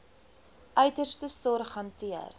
uiterste sorg hanteer